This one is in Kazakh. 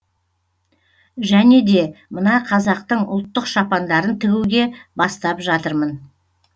және де мына қазақтың ұлттық шапандарын тігуге бастап жатырмын